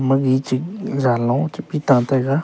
ema zanlo chipi ta taiga.